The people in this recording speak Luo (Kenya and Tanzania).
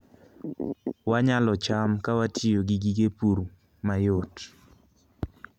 Wanyalo cham ka watiyo gi gige pur mayot